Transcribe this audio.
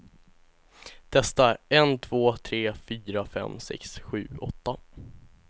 Testar en två tre fyra fem sex sju åtta.